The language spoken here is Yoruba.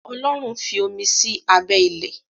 Ọlọ́run fí omi sí abẹ́ ilẹ̀.